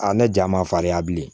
ne ja ma farinya bilen